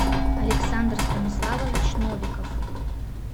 александр станиславович новиков